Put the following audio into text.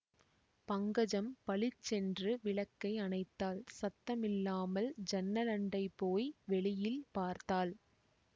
பங்கஜம் பளிச்சென்று விளக்கை அணைத்தாள் சத்தமில்லாமல் ஜன்னலண்டை போய் வெளியில் பார்த்தாள்